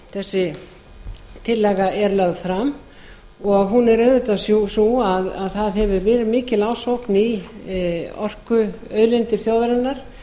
þessi tillaga er lögð fram hún er auðvitað sú að það hefur verið mikil ásókn í orkuauðlindir þjóðarinnar